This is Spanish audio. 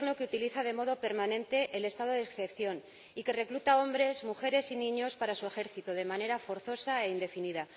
de un Gobierno que utiliza de modo permanente el estado de excepción y que recluta a hombres, mujeres y niños para su ejército de manera forzosa e indefinida